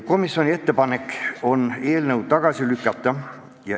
Komisjoni ettepanek on eelnõu tagasi lükata.